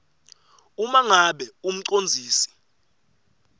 uma ngabe umcondzisi